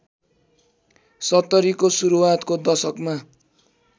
सत्तरीको सुरुवातको दशकमा